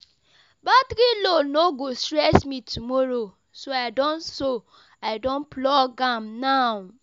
Battery low no go stress me tomorrow, so I don so I don plug am now.